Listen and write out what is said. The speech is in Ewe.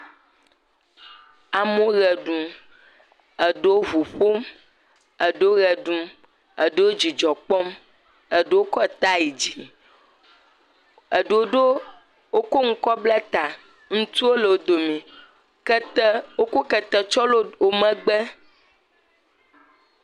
Amewo ʋe ɖum. Eɖewo ŋu ƒom. Eɖewo ʋe ɖum. Eɖewo dzidzɔ kpɔm. Eɖewo kɔ ta yi dzi. Eɖewo ɖo, wokɔ nu kɔ bla taa. Ŋutsuwo le wo dome. Kete, wokɔ kete tsɔ lé wo megbe.